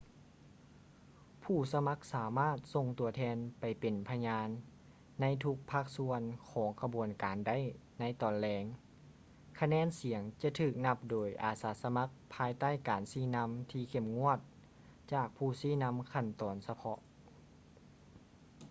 ຜູ້ສະໝັກສາມາດສົ່ງຕົວແທນໄປເປັນພະຍານໃນທຸກພາກສ່ວນຂອງຂະບວນການໄດ້ ໃນຕອນແລງ ຄະແນນສຽງຈະຖືກນັບໂດຍອາສາສະໝັກພາຍໃຕ້ການຊີ້ນຳທີ່ເຂັ້ມງວດຈາກຜູ້ຊີ້ນໍາຕາມຂັ້ນຕອນສະເພາະ